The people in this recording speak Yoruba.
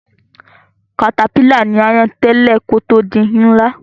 Katapílà ní áyán tẹ́lẹ̀ kí ó tó di ńlá